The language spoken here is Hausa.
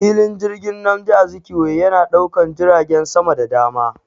Filin jirgin Nmadi Azikiwe yana daukan jiragen sama da dama.